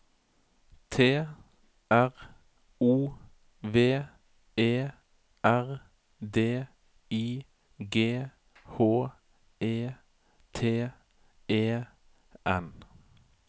T R O V E R D I G H E T E N